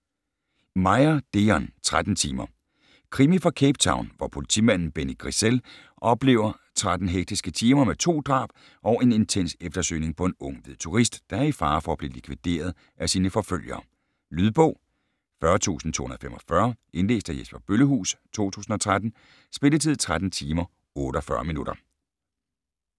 Meyer, Deon: Tretten timer Krimi fra Cape Town, hvor politimanden Benny Griessel oplever 13 hektiske timer med to drab og en intens eftersøgning på en ung hvid turist, der er i fare for at blive likvideret af sine forfølgere. Lydbog 40245 Indlæst af Jesper Bøllehuus, 2013. Spilletid: 13 timer, 48 minutter.